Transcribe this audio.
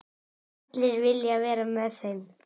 Allir vilja vera með þeim.